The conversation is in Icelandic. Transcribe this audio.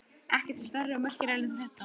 Ekkert stærri og merkilegri en þetta.